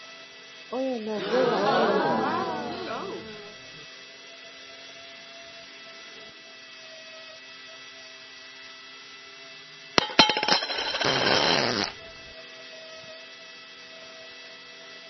Oyo logo ya Apple.